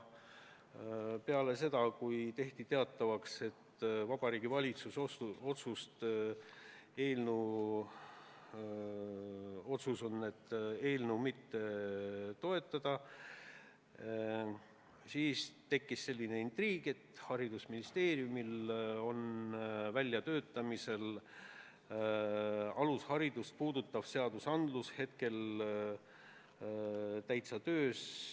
Peale seda, kui tehti teatavaks, et Vabariigi Valitsuse otsus on eelnõu mitte toetada, tekkis väike intriig, kuna haridusministeeriumis on praegu väljatöötamisel alusharidust puudutav seadus.